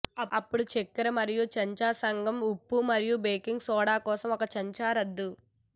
అప్పుడు చక్కెర మరియు చెంచా సగం ఉప్పు మరియు బేకింగ్ సోడా కోసం ఒక చెంచా రద్దు